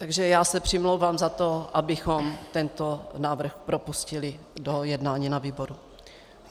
Takže já se přimlouvám za to, abychom tento návrh propustili do jednání na výboru.